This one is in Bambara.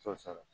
T'o sɔrɔ